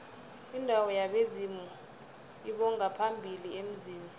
indawo yabezimu lbongaphambili emzini